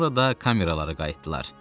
Sonra da kameralara qayıtdılar.